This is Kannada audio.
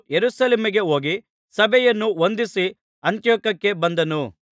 ಯೆರೂಸಲೇಮಿಗೆ ಹೋಗಿ ಸಭೆಯನ್ನು ವಂದಿಸಿ ಅಂತಿಯೋಕ್ಯಕ್ಕೆ ಬಂದನು